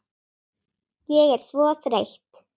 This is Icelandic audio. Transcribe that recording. Ég er svo þreytt